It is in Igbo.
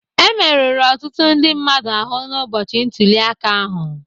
Emerụrụ ọtụtụ ndị mmadụ ahụ n'ụbọchị ntulịaka ahụ